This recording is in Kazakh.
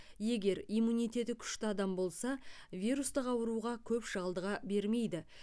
егер иммунитеті күшті адам болса вирустық ауруға көп шалдыға бермейді